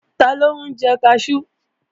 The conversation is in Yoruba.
Taló ń jẹ kaṣú?